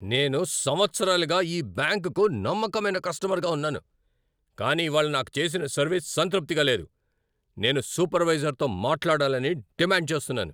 నేను సంవత్సరాలుగా ఈ బ్యాంకుకు నమ్మకమైన కస్టమర్గా ఉన్నాను, కానీ ఇవాళ నాకు చేసిన సర్వీస్ సంతృప్తిగా లేదు. నేను సూపర్వైజర్తో మాట్లాడాలని డిమాండ్ చేస్తున్నాను!